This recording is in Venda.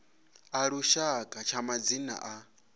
a lushaka tsha madzina a